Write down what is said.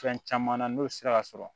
Fɛn caman na n'o sera ka sɔrɔ